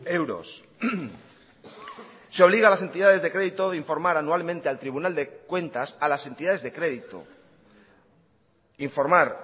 euros se obliga a las entidades de crédito de informar anualmente al tribunal de cuentas a las entidades de crédito informar